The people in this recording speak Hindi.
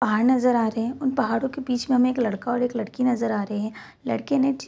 पहाड़ नजर आ रहे हैं । उन पहाडों के बीच में हमे एक लड़का और एक लड़की नजर आ रहे हैं । लड़के ने --